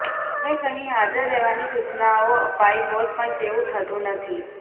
તેમ કહી હાજર રહેવાની સુચનઓ અપાઇ હોત પણ તેવું થતુ નથી